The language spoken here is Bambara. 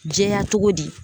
Jɛya togo di